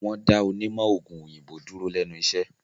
Wọ́n dá onímọ̀-òògùn òyìnbó dúró lẹ́nu iṣẹ́.